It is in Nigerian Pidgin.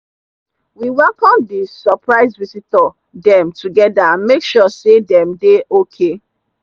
we welcome the suprise visitor them together and make sure say them dey okay.